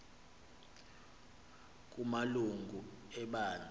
kama lungu ebandla